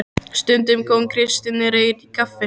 Stundum kom Kristinn Reyr í kaffi.